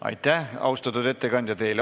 Aitäh, austatud ettekandja!